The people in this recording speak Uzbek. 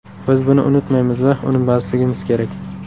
Biz buni unutmaymiz va unutmasligimiz kerak.